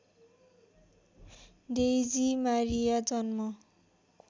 Daisy Maria जन्म